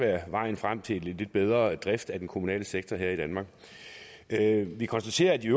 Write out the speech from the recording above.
være vejen frem til en lidt bedre drift af den kommunale sektor her i danmark vi konstaterer at de